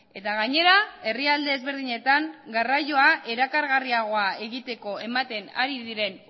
eta gainera herrialde ezberdinetan garraioa erakargarriagoa egiteko ematen ari diren